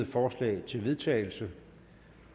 forslag til vedtagelse